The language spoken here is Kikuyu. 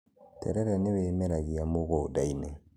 terere nĩ wĩmerangĩa mũgũnda-inĩ